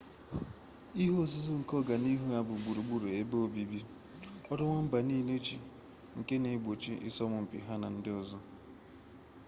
ihe nzuzo nke ọganihu ha bụ gburugburu ebe obibi ọrụ nwamba niile ji nke na egbochi ịsọmpi ha na ndị ọzọ